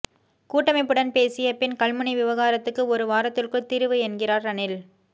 கூட்டமைப்புடன் பேசிய பின் கல்முனை விவகாரத்துக்கு ஒரு வாரத்துக்குள் தீர்வு என்கிறார் ரணில்